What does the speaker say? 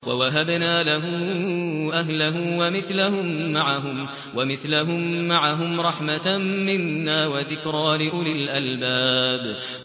وَوَهَبْنَا لَهُ أَهْلَهُ وَمِثْلَهُم مَّعَهُمْ رَحْمَةً مِّنَّا وَذِكْرَىٰ لِأُولِي الْأَلْبَابِ